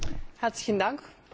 Frau Präsidentin!